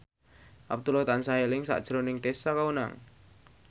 Abdullah tansah eling sakjroning Tessa Kaunang